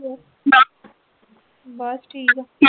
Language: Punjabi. ਬਸ ਠੀਕ ਆ।